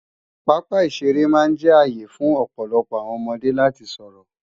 Pápá ìṣeré máa jẹ́ ààyè fún ọ̀pọ̀lọpọọ àwọn ọmọdé láti sọ̀rọ̀